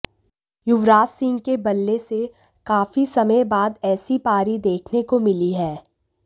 युवराज सिंह के बल्ले से काफी समय बाद ऐसी पारी देखने को मिली है